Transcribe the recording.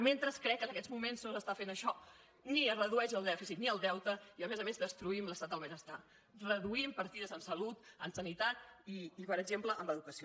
mentre crec que en aquests moments no s’està fent això ni es redueix el dèficit ni el deute i a més a més destruïm l’estat del benestar reduïm partides en salut en sanitat i per exemple en educació